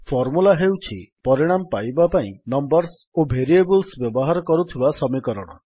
formula ହେଉଛି ପରିଣାମ ପାଇବା ପାଇଁ ନମ୍ୱର୍ସ ଓ ଭେରିଏବଲ୍ସ ବ୍ୟବହାର କରୁଥିବା ସମୀକରଣ